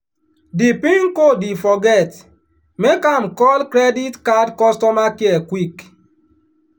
di pin code e forget make am call credit card customer care quick.